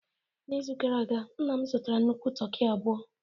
N'izu gara aga, nna m zụtara nnukwu toki abụọ